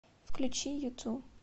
включи юту